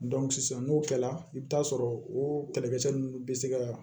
sisan n'o kɛla i bɛ t'a sɔrɔ o kɛlɛkɛcɛ ninnu bɛ se ka